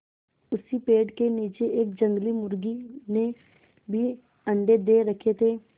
उसी पेड़ के नीचे एक जंगली मुर्गी ने भी अंडे दे रखें थे